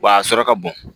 Wa a sɔrɔ ka bon